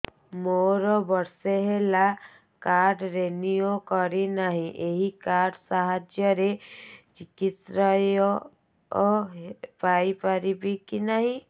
ମୋର ବର୍ଷେ ହେଲା କାର୍ଡ ରିନିଓ କରିନାହିଁ ଏହି କାର୍ଡ ସାହାଯ୍ୟରେ ଚିକିସୟା ହୈ ପାରିବନାହିଁ କି